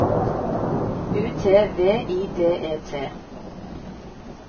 U T V I D E T